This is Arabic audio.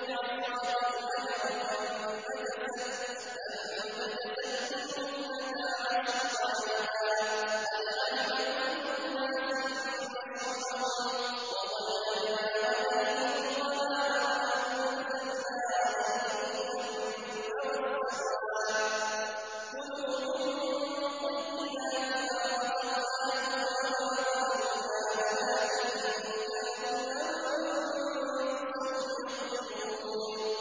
اضْرِب بِّعَصَاكَ الْحَجَرَ ۖ فَانبَجَسَتْ مِنْهُ اثْنَتَا عَشْرَةَ عَيْنًا ۖ قَدْ عَلِمَ كُلُّ أُنَاسٍ مَّشْرَبَهُمْ ۚ وَظَلَّلْنَا عَلَيْهِمُ الْغَمَامَ وَأَنزَلْنَا عَلَيْهِمُ الْمَنَّ وَالسَّلْوَىٰ ۖ كُلُوا مِن طَيِّبَاتِ مَا رَزَقْنَاكُمْ ۚ وَمَا ظَلَمُونَا وَلَٰكِن كَانُوا أَنفُسَهُمْ يَظْلِمُونَ